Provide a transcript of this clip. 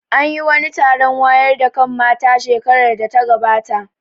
An yi wani taron wayar da kan mata shekarar da ta gabata